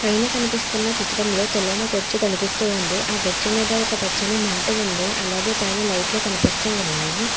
పైన కనిపిస్తున్న చిత్రంలో తెల్లని గొచ్చు కనిపిస్తూ ఉంది ఆ గొచ్చు మీద ఒక పచ్చని మ్యాటు ఉంది అలాగే పైన లైట్లు కనిపిస్తూ ఉన్నాయి.